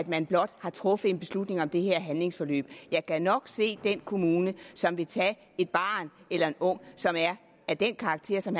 man blot har truffet en beslutning om det her handlingsforløb jeg gad nok se den kommune som vil tage et barn eller en ung som er af den karakter som